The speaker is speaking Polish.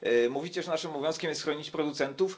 Mówicie, że naszym obowiązkiem jest chronić producentów.